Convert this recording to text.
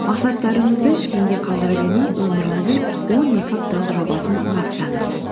мақсаттарыңызды кейінге қалдыра бермей өміріңіздің он екі апталық жобасын бастаңыз